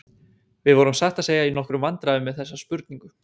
Við vorum satt að segja í nokkrum vandræðum með þessa spurningu.